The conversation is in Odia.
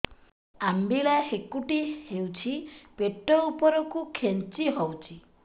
ଅମ୍ବିଳା ହେକୁଟୀ ହେଉଛି ପେଟ ଉପରକୁ ଖେଞ୍ଚି ହଉଚି